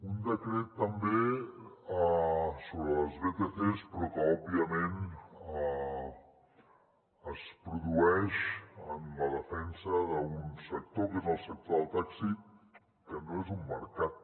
un decret també sobre les vtcs però que òbviament es produeix en la defensa d’un sector que és el sector del taxi que no és un mercat